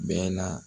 Bɛɛ la